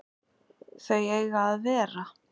Þau eiga að vera